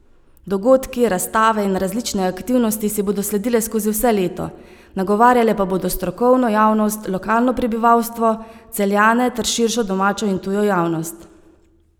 Dogodki, razstave in različne aktivnosti si bodo sledile skozi vse leto, nagovarjale pa bodo strokovno javnost, lokalno prebivalstvo, Celjane ter širšo domačo in tujo javnost.